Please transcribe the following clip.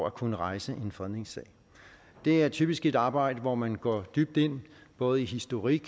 at kunne rejse en fredningssag det er typisk et arbejde hvor man går dybt ind både i historik